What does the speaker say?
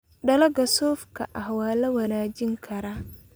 Dalagga suufka ah waa la wanaajin karaa.